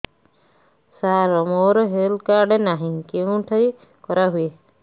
ସାର ମୋର health card ନାହିଁ କେଉଁଠି କରା ହୁଏ